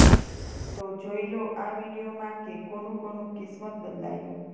તો જોઈ લો આ વીડિયોમાં કે કોનું કોનું કિસ્મત બદલાયું